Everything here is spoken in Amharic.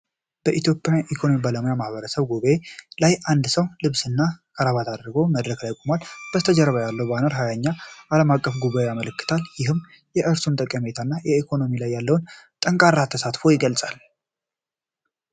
በኢትዮጵያ ኢኮኖሚክስ ባለሙያዎች ማህበር ጉባኤ ላይ አንድ ሰው ልብስና ክራባት አድርጎ መድረክ ላይ ቆሟል። ከበስተጀርባ ያለው ባነር የ20ኛውን ዓለም አቀፍ ጉባኤ ያመለክታል። ይህም የእርሱን ጠቀሜታና በኢኮኖሚክስ ላይ ያለውን ጠንካራ ተሳትፎ ይገልጻል።